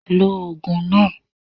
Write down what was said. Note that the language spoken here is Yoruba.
Lo ògùn náà